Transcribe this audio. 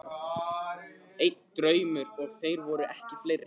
Einn draumur, og þeir voru ekki fleiri.